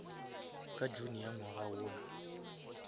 ka june ya ngwaga wona